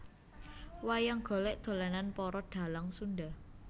Wayang golek dolanan para dhalang Sunda